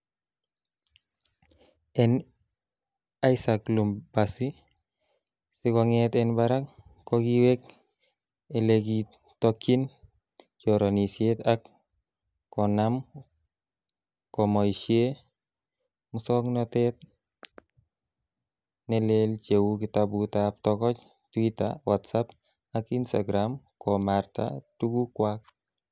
En Isaac Lumbasi, sikonget en barak, ko kiwek ele kitokyin choronisiet ak konaam komoishie musongnotet ne leel cheu kitabutab togoch, twita, WhatsApp ak Instagram komarta tugukwak.